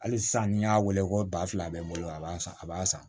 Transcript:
Hali sisan n'i y'a wele ko ba fila bɛ n bolo a b'a san a b'a san